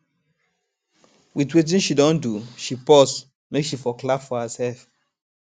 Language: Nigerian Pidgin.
with wetin she don do she pause make she for clap for herself